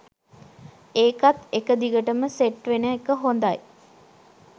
ඒකත් එක දිගටම සෙට් වෙන එක හොඳයි